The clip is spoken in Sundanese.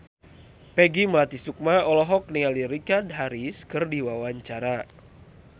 Peggy Melati Sukma olohok ningali Richard Harris keur diwawancara